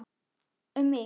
Um mig?